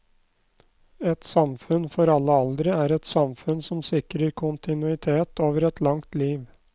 Et samfunn for alle aldre er et samfunn som sikrer kontinuitet over et langt liv.